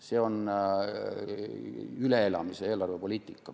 See on üleelamise eelarvepoliitika.